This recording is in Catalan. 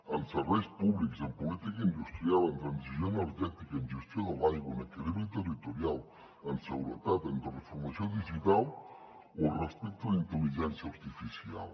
en serveis públics en política industrial en transició energètica en gestió de l’aigua en equilibri territorial en seguretat en transformació digital o respecte a la intel·ligència artificial